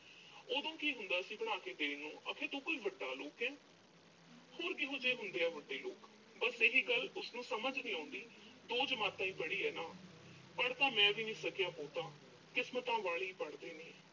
ਉਦੋਂ ਕੀ ਹੁੰਦਾ ਸੀ ਬਣਾ ਕੇ ਦੇਣ ਨੂੰ। ਅਕੇ ਤੂੰ ਕੋਈ ਵੱਡਾ ਲੋਕ ਐਂ। ਹੋਰ ਕਿਹੋ ਜਿਹੇ ਹੁੰਦੇ ਆ ਵੱਡੇ ਲੋਕ। ਬੱਸ ਇਹੀ ਗੱਲ ਉਹਨੂੰ ਸਮਝ ਨੀਂ ਆਉਂਦੀ। ਦੋ ਜਮਾਤਾਂ ਈ ਪੜ੍ਹੀ ਐ ਨਾ ਅਹ ਪੜ੍ਹ ਤਾਂ ਮੈਂ ਵੀ ਨੀਂ ਸਕਿਆ ਬਹੁਤਾ।